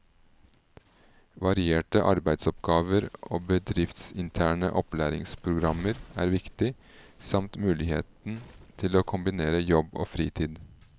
Varierte arbeidsoppgaver og bedriftsinterne opplæringsprogrammer er viktig, samt muligheten til å kombinere jobb og fritid.